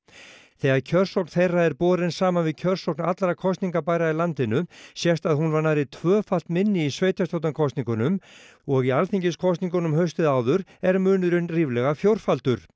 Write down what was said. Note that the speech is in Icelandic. þegar kjörsókn þeirra er borin saman við kjörsókn allra annarra kosningabærra í landinu sést að hún var nærri tvöfalt minni í sveitarstjórnarkosningunum og í alþingiskosningunum haustið áður er munurinn ríflega fjórfaldur